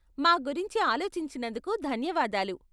మా గురించి ఆలోచించినందుకు ధన్యవాదాలు.